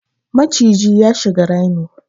Maciji ya shiga rami